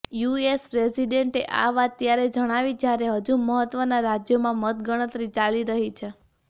US પ્રેસિડેન્ટે આ વાત ત્યારે જણાવી જ્યારે હજુ મહત્વના રાજ્યોમાં મતગણતરી ચાલી રહી છે